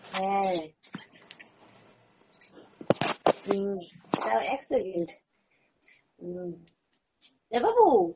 হ্যাঁ, হম দাড়াও এক second, উম এ বাবু